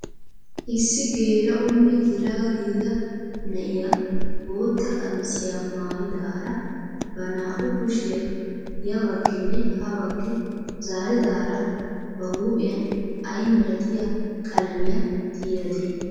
Issi geela'onne yelaga gidida na'iyaa bootta qamisiyaa maayidaara ba naa"u kushiyaa ya bagginne ha baggi zaaridaara ba huuphphiyaan ayi milatiyaa qalamiyaa tiyadee?